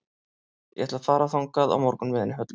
Ég ætla að fara þangað á morgun með henni Höllu.